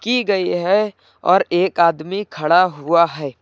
की गई है और एक आदमी खड़ा हुआ है।